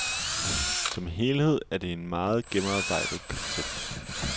Som helhed er det en meget gennemarbejdet koncert.